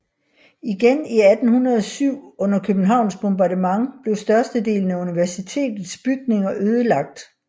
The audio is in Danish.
Igen i 1807 under Københavns bombardement blev størstedelen af universitetets bygninger ødelagt